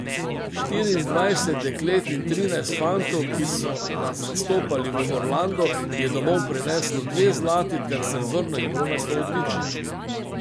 Štiriindvajset deklet in trinajst fantov, ki so nas zastopali v Orlandu, je domov prineslo dve zlati ter srebrno in bronasto odličje.